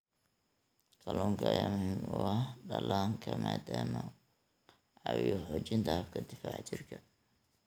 Kalluunka ayaa muhiim u ah dhallaanka maadaama uu ka caawiyo xoojinta habka difaaca jirka.